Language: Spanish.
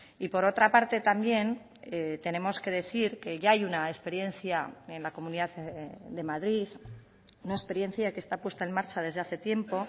y por otra parte también tenemos que decir que ya hay una experiencia en la comunidad de madrid una experiencia que esta puesta en marcha desde hace tiempo